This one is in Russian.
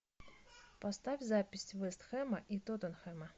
поставь запись вест хэма и тоттенхэма